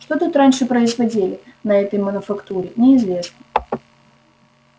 что тут раньше производили на этой мануфактуре неизвестно